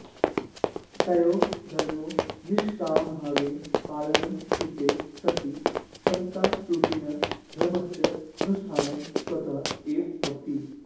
तयोः धर्मयोः निष्कामभावेन पालनं कृते सति समतारूपिणः धर्मस्य अनुष्ठानं स्वतः एव भवति